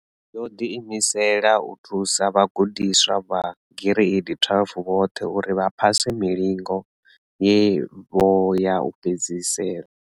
Yo ḓiimisela u thusa vhagudiswa vha gireidi 12 vhoṱhe uri vha phase milingo yavho ya u fhedzisela.